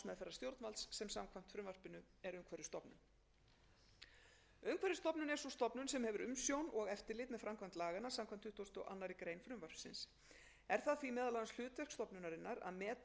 stjórnvalds sem samkvæmt frumvarpinu er umhverfisstofnun umhverfisstofnun er sú stofnun sem hefur umsjón og eftirlit með framkvæmd laganna samkvæmt tuttugustu og aðra grein frumvarpsins er það því meðal annars hlutverk stofnunarinnar að meta hvort tjón sem er orðið eða yfirvofandi flokkist sem